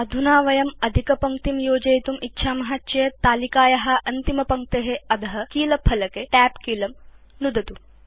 अधुना यदि वयं अधिकपङ्क्तिं योजयितुम् इच्छाम केवलं तालिकाया अन्तिमपङ्क्ते अध कीलफलके Tab कीलं नुदतु